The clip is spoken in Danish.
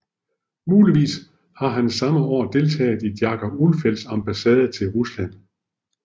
Muligvis har han samme år deltaget i Jacob Ulfeldts ambassade til Rusland